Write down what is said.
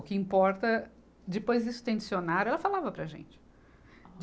O que importa, depois disso tem dicionário, ela falava para a gente.